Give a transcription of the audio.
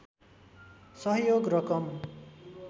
सहयोग रकम